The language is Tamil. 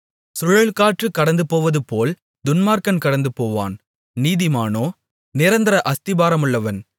சுழல்காற்று கடந்துபோவதுபோல் துன்மார்க்கன் கடந்துபோவான் நீதிமானோ நிரந்தர அஸ்திபாரமுள்ளவன்